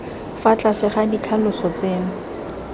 fa tlase ga ditlhaloso tseno